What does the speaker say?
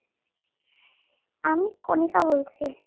আমি Konika বলছি